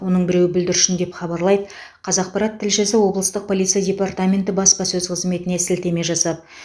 оның біреуі бүлдіршін деп хабарлайды қазақпарат тілшісі облыстық полиция департаменті баспасөз қызметіне сілтеме жасап